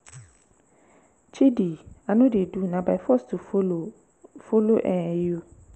chidi i no dey do na by force to follow follow um you?